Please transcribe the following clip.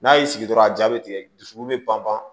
N'a y'i sigi dɔrɔn a jaa bɛ tigɛ dusukolo bɛ pan pan